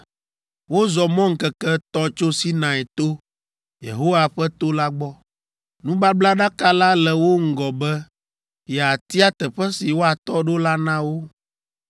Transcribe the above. Wozɔ mɔ ŋkeke etɔ̃ tso Sinai to, Yehowa ƒe to la gbɔ. Nubablaɖaka la le wo ŋgɔ be yeatia teƒe si woatɔ ɖo la na wo.